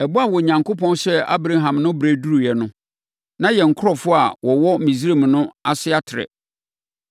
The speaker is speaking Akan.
“Ɛbɔ a Onyankopɔn hyɛɛ Abraham no berɛ reduru no, na yɛn nkurɔfoɔ a wɔwɔ Misraim no ase atrɛ.